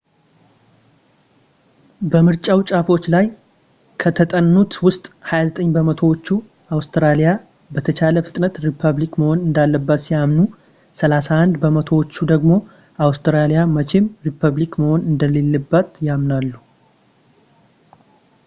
በምርጫው ጫፎች ላይ ከተጠኑት ውስጥ 29 በመቶዎቹ አውስትራሊያ በተቻለ ፍጥነት ሪፐብሊክ መሆን እንዳለባት ሲያምኑ 31 በመቶዎቹ ደግሞ አውስትራሊያ መቼም ሪፐብሊክ መሆን እንደሌለባት ያምናሉ